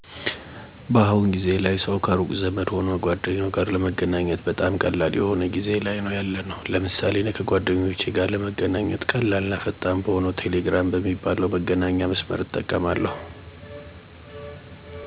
በአሁኑ ጊዜ ላይ ሠው ከሩቅ ዘመድ ሆነ ጓደኛው ጋር ለመገናኘት በጣም ቀላል የሆ ጊዜ ላይ ነው ያለነው። ለምሳሌ እኔ ከ ጓደኞቼ ጋር ለመገናኘት ቀላል እና ፈጣን በሆነው ቴሌግራም በሚባል መገናኛ መስመር እጠቀማለሁ። ቴሌግራም አሪፍ ፍጥነት እና ደንነቱ የተጠበቀ ሲሆን ከፈለኩ በፁሁፍ ወይም በምስል ማግኘት እንድችል አድርጎኛል። ቀላል እና ፈጣን በመሆኑ የፈለኩት ሠው ማግኘት እንድችል አድርጎኛል።